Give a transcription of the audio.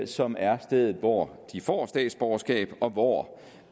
som er stedet hvor de får statsborgerskab og hvor